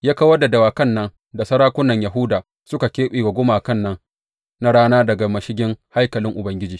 Ya kawar da dawakan nan da sarakunan Yahuda suka keɓe wa gumakan nan na rana daga mashigin haikalin Ubangiji.